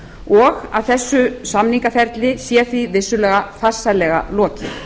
og að þessu samningaferli sé því vissulega farsællega lokið